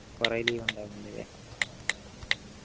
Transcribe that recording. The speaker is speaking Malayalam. കൊറേ leave ഇണ്ടാവും അല്ലെ